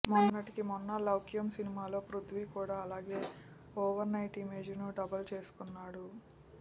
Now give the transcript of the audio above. మొన్నటికి మొన్న లౌక్యం సినిమాలో పృధ్వీ కూడా అలాగే ఓవర్ నైట్ ఇమేజ్ ను డబుల్ చేసుకున్నాడు